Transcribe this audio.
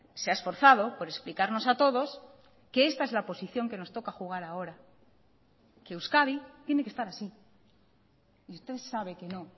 se ha esforzado por explicarnos a todos que esta es la posición que nos toca jugar ahora que euskadi tiene que estar así y usted sabe que no